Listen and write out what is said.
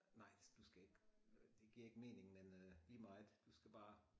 Nej du skal ikke det giver ikke mening men øh lige meget du skal bare